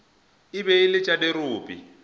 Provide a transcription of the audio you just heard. be e le tša dirope